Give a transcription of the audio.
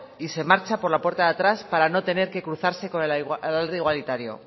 y se marcha por la puerta de atrás para no tener que cruzarse con el alarde igualitario